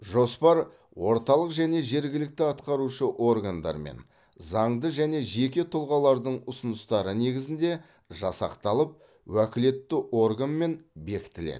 жоспар орталық және жергілікті атқарушы органдар мен заңды және жеке тұлғалардың ұсыныстары негізінде жасақталып уәкілетті органмен бекітіледі